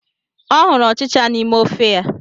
Ọ hụrụ ọchịcha n'ime ofe ya.